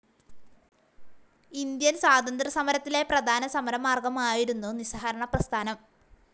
Indian സ്വാതന്ത്ര്യ സമരത്തിലെ പ്രധാന സമരമാർഗ്ഗമായിരുന്നു നിസ്സഹകരണ പ്രസ്ഥാനം.